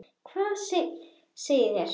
Hvað segið þér?